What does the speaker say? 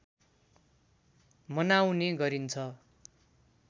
मनाउने गरिन्छ